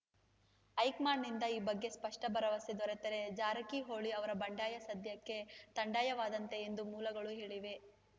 ಹೈಕಮಾಂಡ್‌ನಿಂದ ಈ ಬಗ್ಗೆ ಸ್ಪಷ್ಟಭರವಸೆ ದೊರೆತರೇ ಜಾರಕಿಹೊಳಿ ಅವರ ಬಂಡಾಯ ಸದ್ಯಕ್ಕೆ ಥಂಡಾಯವಾದಂತೆ ಎಂದು ಮೂಲಗಳು ಹೇಳಿವೆ